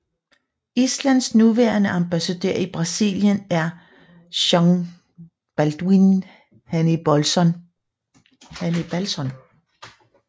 Islands nuværende ambassadør i Brasilien er Jón Baldvin Hannibalsson